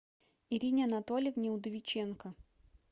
ирине анатольевне удовиченко